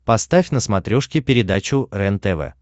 поставь на смотрешке передачу рентв